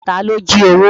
Ta ló jí owó?